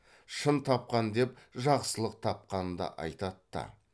шын тапқан деп жақсылық тапқанды айтат та